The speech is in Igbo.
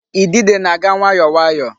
Idide na-aga nwayọọ nwayọọ.